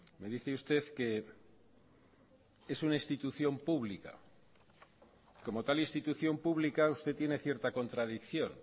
me dice usted que es una institución pública como tal institución pública usted tiene cierta contradicción